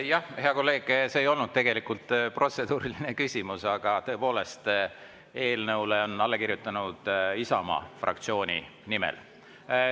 Jah, hea kolleeg, see ei olnud tegelikult protseduuriline küsimus, aga tõepoolest, eelnõule on alla kirjutatud Isamaa fraktsiooni nimel.